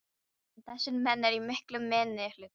En þessir menn eru í miklum minnihluta.